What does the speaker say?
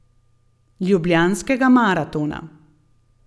Ljubljanskega maratona.